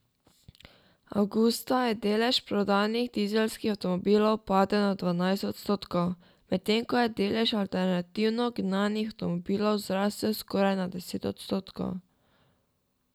Avgusta je delež prodanih dizelskih avtomobilov padel na dvanajst odstotkov, medtem ko je delež alternativno gnanih avtomobilov zrasel skoraj na deset odstotkov.